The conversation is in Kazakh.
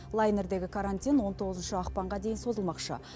лайнердегі карантин он тоғызыншы ақпанға дейін созылмақшы